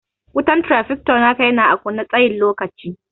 Wutan trafficator naka yana ã kunne na tsayin lokaci.